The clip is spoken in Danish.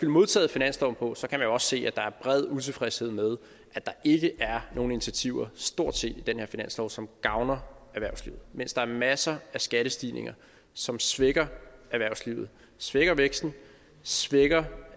modtaget finansloven på kan man også se at der er bred utilfredshed med at der ikke er nogen intiativer stort set i den her finanslov som gavner erhvervslivet mens der er masser af skattestigninger som svækker erhvervslivet svækker væksten svækker